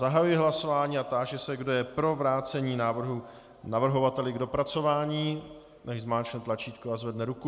Zahajuji hlasování a táži se, kdo je pro vrácení návrhu navrhovateli k dopracování, nechť zmáčkne tlačítko a zvedne ruku.